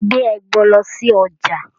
Gbé ẹbọ lọ sí ọjà.